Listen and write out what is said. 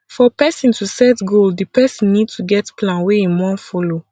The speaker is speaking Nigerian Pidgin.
for person to set goal di person need to get plan wey im wan follow